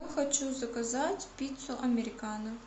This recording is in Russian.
хочу заказать пиццу американо